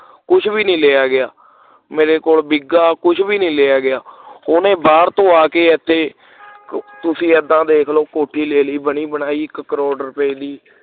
ਕੁਛ ਵੀ ਨਹੀਂ ਲਿਆ ਗਿਆ ਮੇਰੇ ਕੋਲੋਂ ਬਿਗਾ ਕੁਛ ਵੀ ਨਹੀਂ ਲਿਆ ਗਿਆ ਉਹਨੇ ਬਾਹਰ ਤੋਂ ਆ ਕੇ ਇਥੇ ਤੁਸੀਂ ਏਦਾਂ ਦੇਖ ਲਓ ਕੋਠੀ ਲੈ ਲਈ ਬਣੀ ਬਣਾਈ ਇਕ ਕਰੋੜ ਰੁਪਏ ਦੀ